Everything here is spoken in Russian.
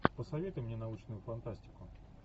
посоветуй мне научную фантастику